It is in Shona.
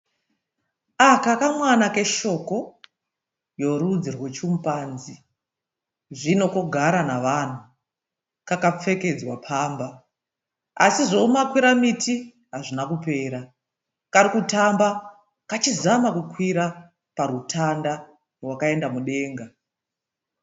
Aka kamwana keshoko yorudzi rwechimupanzi zvino kogara navanhu kakapfekedzwa pamba asi zvoumakwira miti hazvina kupera karikutamba kachizama kukwira parutanda rwakaenda mudenga.